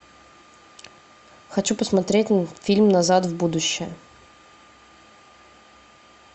хочу посмотреть фильм назад в будущее